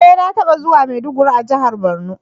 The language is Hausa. E! Na taba zuwa maiduguri a jihar borno.